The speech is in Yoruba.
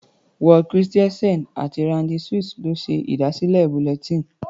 Ward Christensen àti Randy Suess ló ṣe ìdásílẹ̀ bulletin.